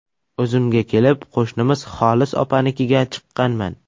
O‘zimga kelib, qo‘shnimiz Xolis opanikiga chiqqanman.